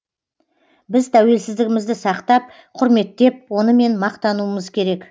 біз тәуелсіздігімізді сақтап құрметтеп онымен мақтануымыз керек